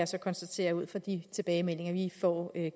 så konstatere ud fra de tilbagemeldinger vi får